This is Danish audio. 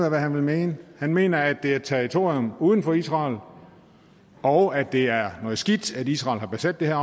af hvad han vil mene han mener at det er et territorium uden for israel og at det er noget skidt at israel har besat det her